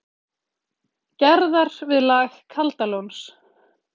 Gerðar, við lag Kaldalóns.